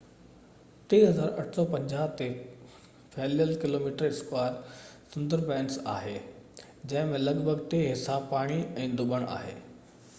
Sundarbans 3,850 km² تي ڦهليل آهي، جنهن ۾ لڳ ڀڳ ٽي حصا پاڻي/ڌُٻڻ آهي